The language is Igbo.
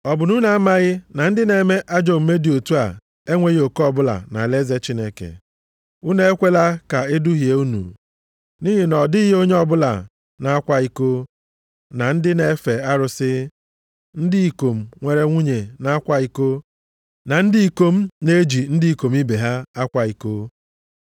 Ọ bụ na unu amaghị na ndị na-eme ajọ omume dị otu a enweghị oke ọbụla nʼalaeze Chineke? Unu ekwela ka eduhie unu. Nʼihi na ọ dịghị onye ọbụla na-akwa iko, na ndị na-efe arụsị, ndị ikom nwere nwunye na-akwa iko, na ndị ikom na-eji ndị ikom ibe ha akwa iko,